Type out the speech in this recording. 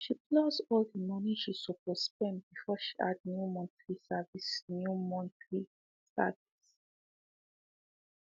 she plus all the money she supposed spend before she add new monthly service new monthly service